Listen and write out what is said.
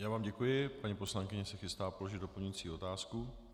Já vám děkuji, paní poslankyně se chystá položit doplňující otázku.